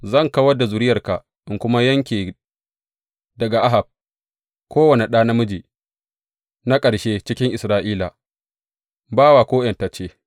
Zan kawar da zuriyarka, in kuma yanke daga Ahab kowane ɗa namiji na ƙarshe cikin Isra’ila, bawa ko ’yantacce.